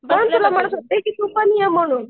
म्हणून तर तुला म्हणते तू पण ये म्हणून.